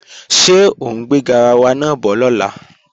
Ṣé ọ ń gbé garawa náà bọ̀ lọ́la?